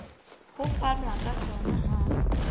ho fanwa ka sona ha